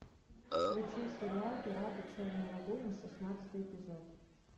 включи сериал пираты черной лагуны шестнадцатый эпизод